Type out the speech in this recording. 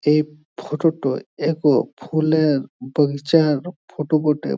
এই ফটোটা টায়এক ফুলের বাগিচার ফটো বটে।